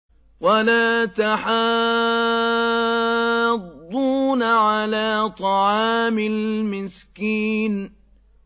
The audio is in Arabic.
وَلَا تَحَاضُّونَ عَلَىٰ طَعَامِ الْمِسْكِينِ